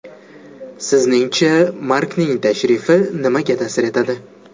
Sizningcha, Markning tashrifi nimaga ta’sir etadi?